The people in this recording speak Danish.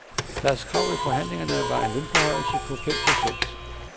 Deres krav ved forhandlingerne var en lønforhøjelse på fem procent.